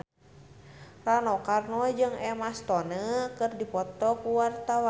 Rano Karno jeung Emma Stone keur dipoto ku wartawan